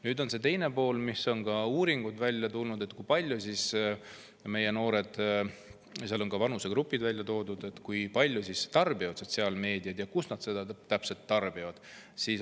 Siin on ka teine pool, mis on uuringutes välja tulnud: kui palju meie noored – on ka vanusegrupid välja toodud – sotsiaalmeediat tarbivad ja kus nad seda täpselt tarbivad.